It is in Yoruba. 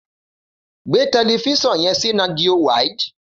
Gbé tẹlẹfiṣọn yẹn si nàtjió wàíld